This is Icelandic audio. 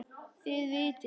Þið vitið.